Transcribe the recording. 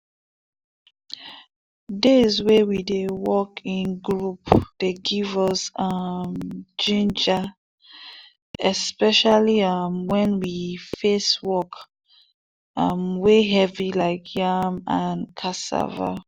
days wey we dey work in group dey give us um ginger especially um wen face work um wey heavy like yam and cassava.